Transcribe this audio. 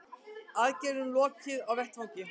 Aðgerðum lokið á vettvangi